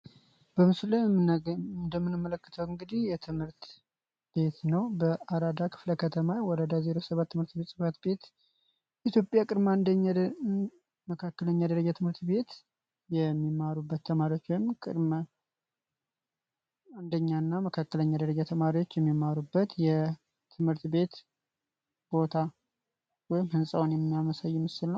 በምስሉ ላይ እንደምንመለከተው እንግዲህ ይህ ትምህርት ቤት ነው። በአራዳ ክፍለ ከተማ ወረዳ 07 ትምህርት ቤት ኢትዮጵያ ቅድመ አንደኛ መካከለኛ ደረጃ ትምህርት ቤት የሚማሩበት ወይም አንደኛና ቅድመ መደበኛ ደረጃ ተማሪዎች የሚመሩበት ትምህርት ቤት ቦታ ወይም ህንፃውን የሚያሳይ ምስል ነው።